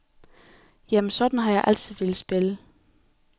Jamen, sådan har jeg altid villet spille.